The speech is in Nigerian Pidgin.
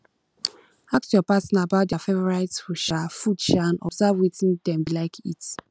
ask your partner about their favourite food um food um and observe wetin dem dey like to eat